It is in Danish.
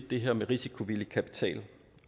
det her med risikovillig kapital